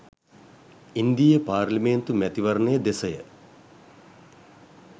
ඉන්දීය පාර්ලිමේන්තු මැතිවරණය දෙසය.